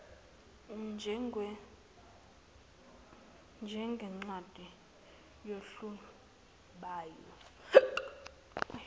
njengencwadi yohlu lwalabo